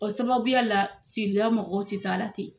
O sababuya la sigila mɔgɔw tɛ taa la ten.